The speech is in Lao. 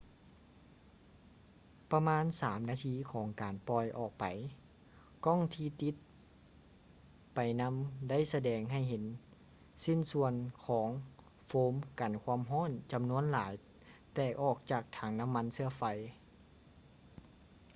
ປະມານ 3 ນາທີຂອງການປ່ອຍອອກໄປ ກ້ອງທີ່ຕິດໄປນຳໄດ້ສະແດງໃຫ້ເຫັນຊິ້ນສ່ວນຂອງໂຟມກັນຄວາມຮ້ອນຈຳນວນຫຼາຍແຕກອອກຈາກຖັງນ້ຳມັນເຊື້ອໄຟ